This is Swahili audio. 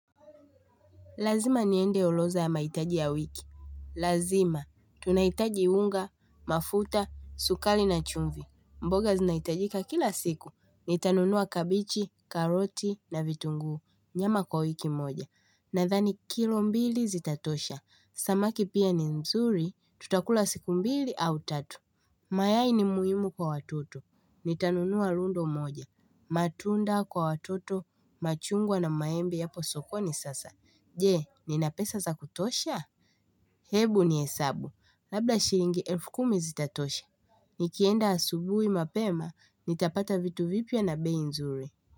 Lazima niende orodha ya mahitaji ya wiki. Lazima. Tunahitaji unga, mafuta, sukari na chumvi. Mboga zinaitajika kila siku. Nitanunua kabichi, karoti na vitunguu. Nyama kwa wiki moja. Nadhani kilo mbili zitatosha. Samaki pia ni nzuri. Tutakula siku mbili au tatu. Mayai ni muhimu kwa watoto. Nitanunua lundo moja. Matunda kwa watoto. Machungwa na maembe yapo sokoni sasa. Je, nina pesa za kutosha? Hebu nihesabu. Labla shilingi elfu kumi zitatosha. Nikienda asubuhi mapema, nitapata vitu vipya na bei nzuri.